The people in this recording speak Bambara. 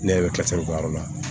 Ne yɛrɛ bɛ k'o yɔrɔ la